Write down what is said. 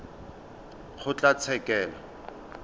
kgotlatshekelo